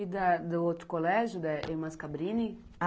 E da do outro colégio, da Irmãs Cabrini?